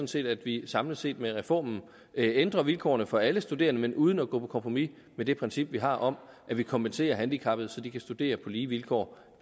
set at vi samlet set med reformen ændrer vilkårene for alle studerende men uden at gå på kompromis med det princip vi har om at vi kompenserer handicappede så de kan studere på lige vilkår